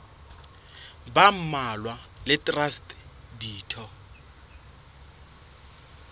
ba mmalwa le traste ditho